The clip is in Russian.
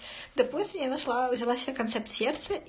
концепция